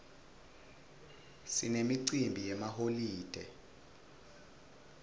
sinemicimbi yemaholide